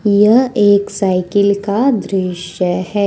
यह एक साइकिल का दृश्य है।